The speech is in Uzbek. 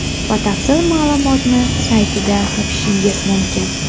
Batafsil ma’lumotni saytida topishingiz mumkin.